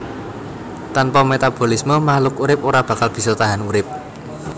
Tanpa metabolisme makhluk urip ora bakal bisa tahan urip